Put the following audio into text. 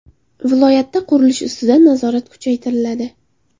Viloyatda qurilish ustidan nazorat kuchaytiriladi.